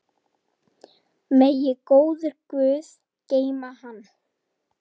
Megi góður guð geyma hann.